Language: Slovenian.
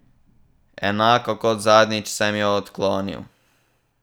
Enako kot zadnjič sem jo odklonil.